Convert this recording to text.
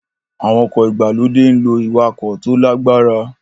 Àwọn ọkọ̀ ìgbàlódé ń lo ìwakò tó lágbára